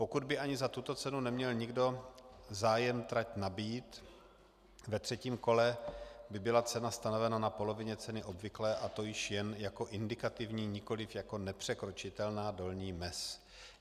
Pokud by ani za tuto cenu neměl nikdo zájem trať nabýt, ve třetím kole by byla cena stanovena na polovině ceny obvyklé, a to již jen jako indikativní, nikoliv jako nepřekročitelná dolní mez.